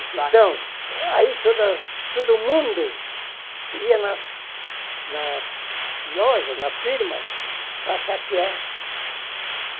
Saque. Então, aí toda todo mundo ia nas nas lojas, nas firmas, para saquear.